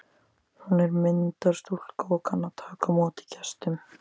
Hún er myndarstúlka og kann að taka á móti gestum.